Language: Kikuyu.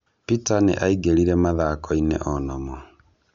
Peter nĩ aingĩrĩre mathako-inĩ onamo.